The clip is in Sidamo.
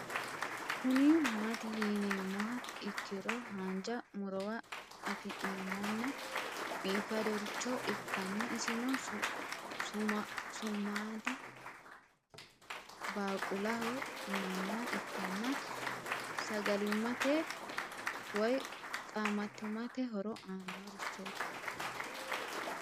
Kuni mati yinumoha ikiro hanja murowa afine'mona bifadoricho ikana isino su'madi baaqulaho yinaniha ikana sagalimate woyi qaamatimate horo aano richoti